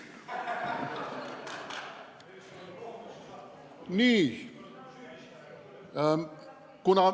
Nii.